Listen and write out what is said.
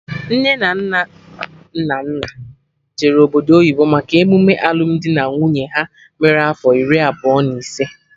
Nne na nna Nnanna jere obodo oyibo maka emume alụmdi na nwunye ha mere afọ iri abụọ na ise